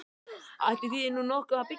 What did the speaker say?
Ætli þýði nú nokkuð að byggja þarna?